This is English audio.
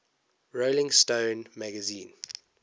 rolling stone magazine